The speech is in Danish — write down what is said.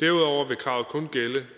derudover vil kravet kun gælde